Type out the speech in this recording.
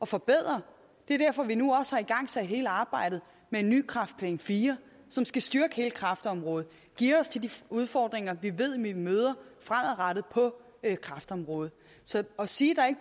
forbedre det er derfor vi nu også har igangsat hele arbejdet med en ny kræftplan iv som skal styrke hele kræftområdet og geare os til de udfordringer vi ved vi vil møde fremadrettet på kræftområdet så at sige